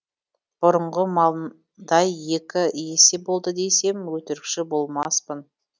бұрынғы малындай екі есе болды десем өтірікші болмаспын